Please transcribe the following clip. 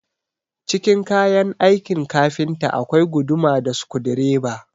Cikin kayan aikin kafinta akwai guduma da sukudireba